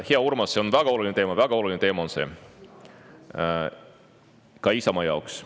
Hea Urmas, see on väga oluline teema, ja väga oluline teema on see ka Isamaa jaoks.